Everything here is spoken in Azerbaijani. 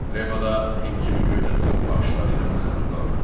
Remo da himcimi göydə tutub baxışları ilə məni ruhlandırır.